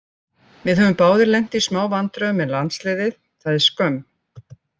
Við höfum báðir lent í smá vandræðum með landsliðið, það er skömm.